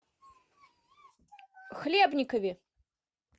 хлебникове